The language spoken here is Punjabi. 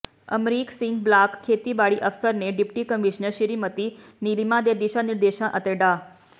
ਅਮਰੀਕ ਸਿੰਘ ਬਲਾਕ ਖੇਤੀਬਾੜੀ ਅਫਸਰ ਨੇ ਡਿਪਟੀ ਕਮਿਸ਼ਨਰ ਸ਼੍ਰੀਮਤੀ ਨੀਲਿਮਾ ਦੇ ਦਿਸ਼ਾ ਨਿਰਦੇਸ਼ਾਂ ਅਤੇ ਡਾ